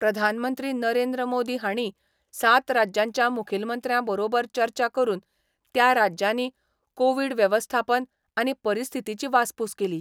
प्रधानमंत्री नरेंद्र मोदी हांणी सात राज्यांच्या मुखेलमंत्र्या बरोबर चर्चा करून त्या राज्यांनी कोवीड वेवस्थापन आनी परिस्थितीची वासपूस केली.